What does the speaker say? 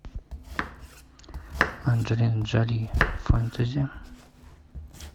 анжелина джоли фентези